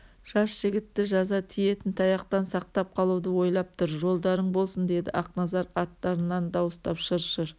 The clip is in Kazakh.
жас жігітті жаза тиетін таяқтан сақтап қалуды ойлап тұр жолдарың болсын деді ақназар арттарынан дауыстап шыр-шыр